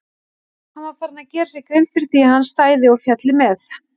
Hann var farinn að gera sér grein fyrir því að hann stæði og félli með